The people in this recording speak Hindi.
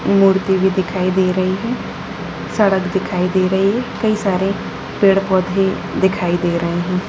मूर्ति भी दिखाई दे रही है सड़क दिखाई दे रही है कई सारे पेड़-पौधे दिखाई दे रहे है।